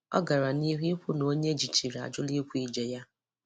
Ọ gara n'ihu ikwu na onye ejichịrị ajụla ikwu ije ya.